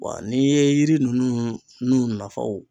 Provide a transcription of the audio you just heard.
Wa n'i ye yiri ninnu n'u nafaw